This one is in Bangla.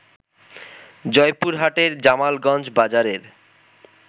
জয়পুরহাটের জামালগঞ্জ বাজারের